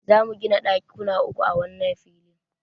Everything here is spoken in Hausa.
Za mu gina ɗakuna uku a wannan filin.